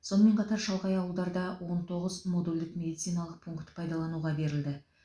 сонымен қатар шалғай ауылдарда он тоғыз модульдік медициналық пункт пайдалануға берілді